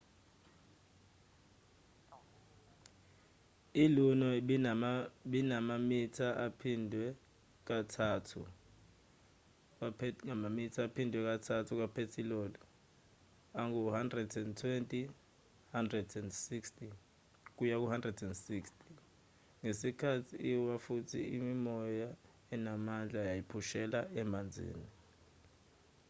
i-luno ibinamamitha aphindwe kathathu kaphethiloli angu-120-160 ngesikhathi iwa futhi imimoya enamandla yayiphushela emanzini